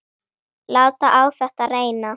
Láta á þetta reyna.